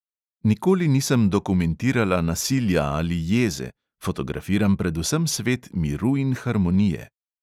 Nikoli nisem dokumentirala nasilja ali jeze, fotografiram predvsem svet miru in harmonije.